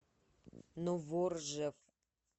новоржев